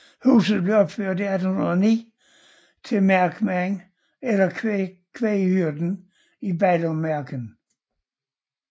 Huset blev opført i 1809 til markmanden eller kvæghyrden i Ballummarsken